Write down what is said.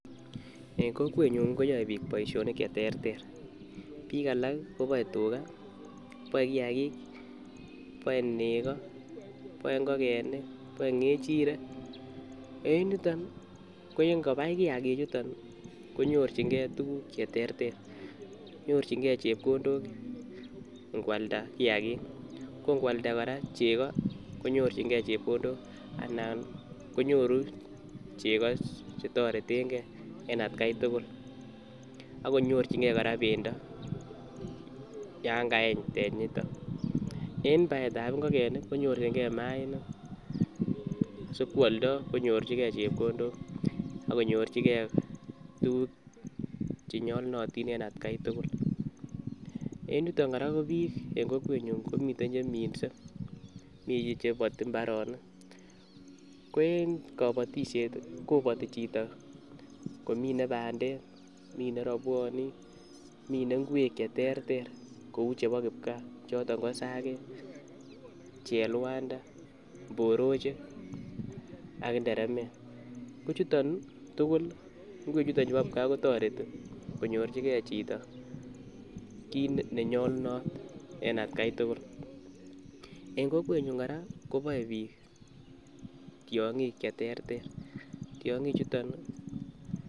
En kokwenyun koyoe biik boishonik cheterter, biik alak koboe tukaa, boe kiakik, boe nekoo, boe ing'okenik, boe ng'echirek, ko en yuton ko ingobai kiaki chuton konyorching'e tukuk cheterter, nyorching'e chepkondok ing'walda kiakik ko ing'walda kora cheko konyorching'e chepkondok anan konyoru chekoo chetoreteng'e en atkai tukul ak konyorching'e kora bendo yoon kaeny benyito, en baetab ing'okenik konyorching'e mainik sikwoldo konyorchike chepkondok ak konyorchike tukuk chenyolunotin en atkai tukul, en yuton kora en kokwenyun komiten cheminse, mii cheboti imbaronik, ko en kobotishet koboti chito komine bandek, minee robwonik, minee ing'wek cheterter kouu chebo kipkaa choton ko isakek, chelwanda, mborochik ak inderemek, ko chuton tukul ing'wechu bo kipkaa kotoreti konyorchikee chito kiit nenyolunot en atkai tukul, en kokwenyun kora koboe biik tiong'ik cheterter, tiong'ichuton.